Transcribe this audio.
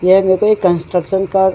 यह मेरेको एक कंस्ट्रक्शन का --